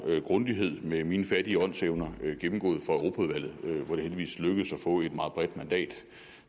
grundighed med mine fattige åndsevner gennemgået for europaudvalget hvor det heldigvis lykkedes at få et meget bredt mandat